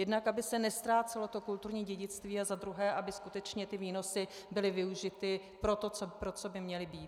Jednak aby se neztrácelo kulturní dědictví a za druhé, aby skutečně ty výnosy byly využity pro to, pro co by měly být.